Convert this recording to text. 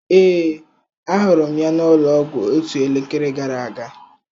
Ee, ahụrụ m ya n'ụlọọgwụ otu elekere gara aga.